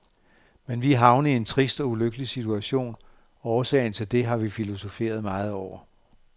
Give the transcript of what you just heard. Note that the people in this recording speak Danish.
Men vi er havnet i en trist og ulykkelig situation, og årsagen til det har vi filosoferet meget over.